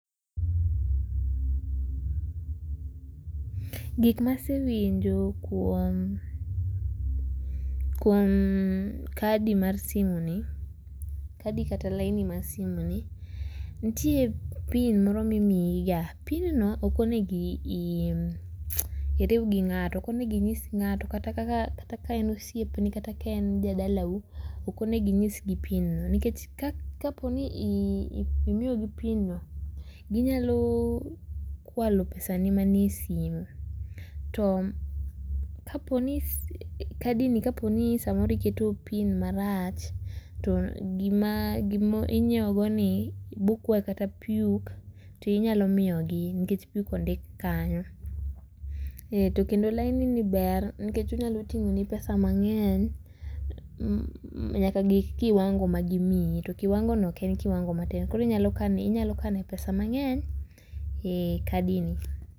Gik masewinjo kuom, kuom kadi mar simu ni, kadi kata laini mar simuni ,nitie pin moro mimiyiga, [cs[ pin no ok onego iriw gi ng'ato. Ok onego inyis ng'ato kata ka in gi osiepni kata ka en jadalau ,ok onego inyisgi pin ni. Nikech kapo ni imiyogi pin no ,ginyalo kwalo pesani manie simu. To kapo ni sim ,kadi ni kapo ni samoro iketo pin marach to gima inyiewogi bokwayi kata puk to inyalo miyogi nikech puk ondik kanyo .To kendo laini ber nikech onyalo ting'oni pesa mang'eny nyaka gi kiwango magimiyi to kiwango no ok en kiwango matin koro inyalo kanoe pesa mang'eny e kadi ni